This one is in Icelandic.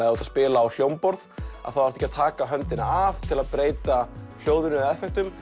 að spila á hljómborð þarftu ekki að taka höndina af til að hljóðinu eða effektum